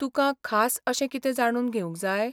तुकां खास अशें कितें जाणून घेवंक जाय?